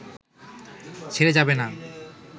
ছেড়ে যাবে না